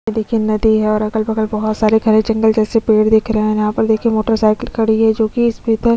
ये देखिए नदी है और अगल - बगल बहुत सारे घने जंगल जैसे पेड़ दिख रहे है और यहाँ पर देखिए मोटरसाइकिल खड़ी है जो की इस --